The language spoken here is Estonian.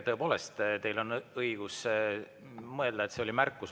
Tõepoolest, teil on õigus mõelda, et see oli märkus.